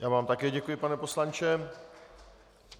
Já vám také děkuji, pane poslanče.